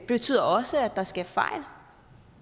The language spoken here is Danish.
betyder også at der sker fejl